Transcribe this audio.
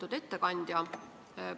Lugupeetud ettekandja!